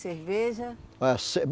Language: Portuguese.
Cerveja? É se